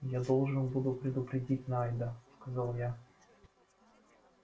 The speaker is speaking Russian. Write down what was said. я должен буду предупредить найда сказал я